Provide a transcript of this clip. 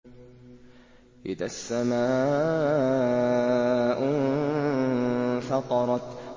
إِذَا السَّمَاءُ انفَطَرَتْ